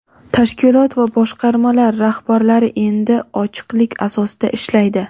tashkilot va boshqarmalar rahbarlari endi ochiqlik asosida ishlaydi.